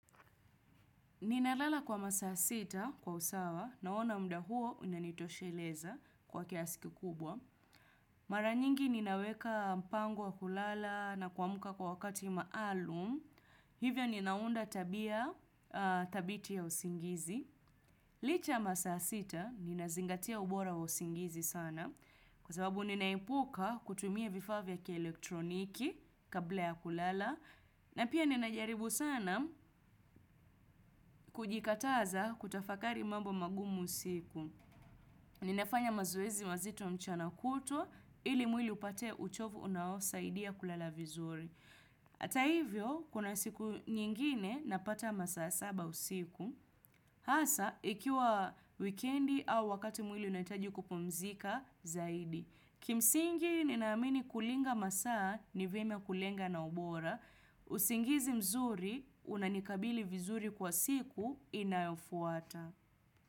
Ninalala kwa masaa sita kwa usawa naona muda huo unanitosheleza kwa kiasi kikubwa. Maranyingi ninaweka mpango wa kulala na kuamuka kwa wakati maalum. Hivyo ninaunda tabia thabiti ya usingizi. Licha masaa sita ninazingatia ubora wa usingizi sana kwa sababu ninaepuka kutumia vifaa vya kielektroniki kabla ya kulala. Na pia ninajaribu sana kujikataza kutafakari mambo magumu siku. Ninafanya mazoezi mazito mchana kutwa ili mwili upate uchovu unaosaidia kulala vizuri. Hata hivyo, kuna siku nyingine napata masaa saba usiku. Hasa, ikiwa wikendi au wakati mwili unahitaji kupumzika zaidi. Kimsingi ninaamini kulinga masaa ni vyema kulenga na ubora. Usingizi mzuri unanikabili vizuri kwa siku inayofuata.